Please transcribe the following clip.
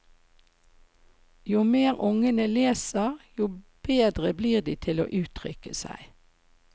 Jo mer ungene leser, jo bedre blir de til å uttrykke seg.